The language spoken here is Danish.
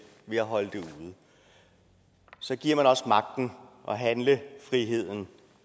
ved at holde det ude så giver man også magten og handlefriheden